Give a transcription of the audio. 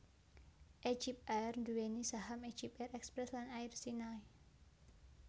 EgyptAir nduwèni saham EgyptAir Express lan Air Sinai